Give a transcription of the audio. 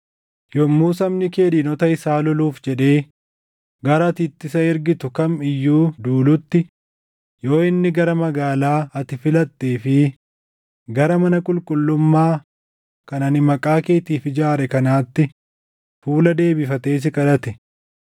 “Yommuu sabni kee diinota isaa loluuf jedhee gara ati itti isa ergitu kam iyyuu duulutti, yoo inni gara magaalaa ati filattee fi gara mana qulqullummaa kan ani Maqaa keetiif ijaare kanaatti fuula deebifatee si kadhate,